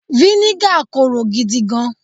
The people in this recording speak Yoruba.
viniga Koro gidi gan